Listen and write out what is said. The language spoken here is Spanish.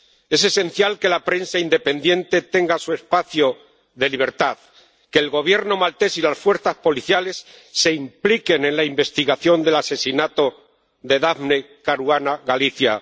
Es esencial que la prensa independiente tenga su espacio de libertad, que el Gobierno maltés y las fuerzas policiales se impliquen en la investigación del asesinato de Daphne Caruana Galizia.